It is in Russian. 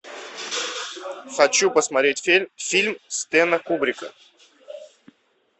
хочу посмотреть фильм стэнли кубрика